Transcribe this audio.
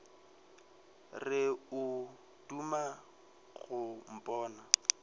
re o duma go mpona